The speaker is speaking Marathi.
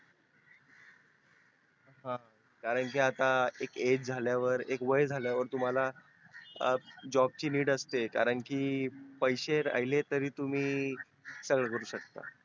हा कारण की आता एक age झाल्यावर तुम्हाला job ची need असते कारण की पैसे असले तरी तुम्ही सगळे करू शकता